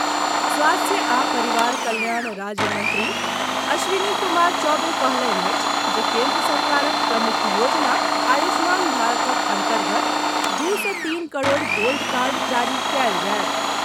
स्वास्थ्य आ परिवार कल्याण राज्य मंत्री अश्विनी कुमार चौबे कहलनि अछि जे केन्द्र सरकारक प्रमुख योजना आयुष्मान भारतक अन्तर्गत दू सँ तीन करोड़ गोल्ड कार्ड जारी कयल जायत।